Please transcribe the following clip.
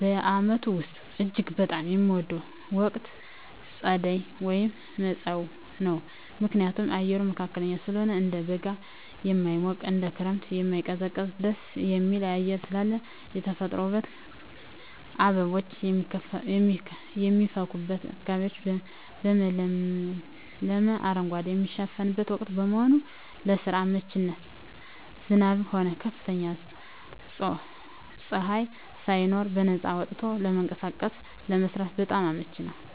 በዓመቱ ውስጥ እጅግ በጣም የምወደው ወቅት ጸደይ (መጸው) ነው። ምክንያቱም፦ አየሩ መካከለኛ ስለሆነ፦ እንደ በጋ የማይሞቅ፣ እንደ ክረምትም የማይቀዘቅዝ ደስ የሚል አየር ስላለው። የተፈጥሮ ውበት፦ አበቦች የሚፈኩበትና አካባቢው በለመለመ አረንጓዴ የሚሸፈንበት ወቅት በመሆኑ። ለስራ አመቺነት፦ ዝናብም ሆነ ከፍተኛ ፀሐይ ሳይኖር በነፃነት ወጥቶ ለመንቀሳቀስና ለመስራት በጣም አመቺ ነው።